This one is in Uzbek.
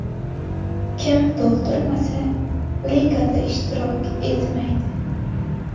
Kim to‘ldirmasa, ligada ishtirok etmaydi.